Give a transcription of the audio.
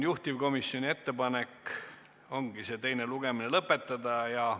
Juhtivkomisjoni ettepanek oligi teine lugemine lõpetada.